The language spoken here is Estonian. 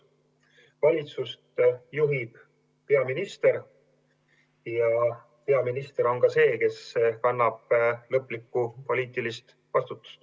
Valitsust juhib peaminister ja peaminister on ka see, kes kannab lõplikku poliitilist vastutust.